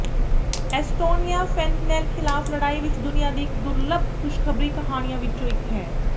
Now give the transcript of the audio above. Estonia fentanyl ਖ਼ਿਲਾਫ਼ ਲੜਾਈ ਵਿੱਚ ਦੁਨੀਆ ਦੀ ਇੱਕ ਦੁਰਲੱਭ ਖੁਸ਼ਖਬਰੀ ਕਹਾਣੀਆਂ ਵਿੱਚੋਂ ਇੱਕ ਹੈ